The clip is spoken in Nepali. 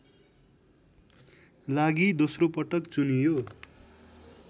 लागि दोस्रो पटक चुनियो